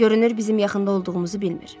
Görünür bizim yaxında olduğumuzu bilmir.